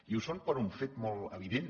i ho són per un fet molt evident